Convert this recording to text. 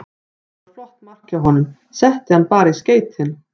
Þetta var flott mark hjá honum, setti hann bara í skeytin.